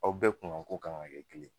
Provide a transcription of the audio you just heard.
Aw bɛɛ kuŋan ko kan ŋa kɛ kelen